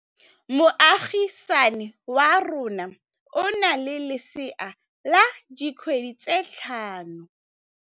Moagisane wa rona o na le lesea la dikgwedi tse tlhano.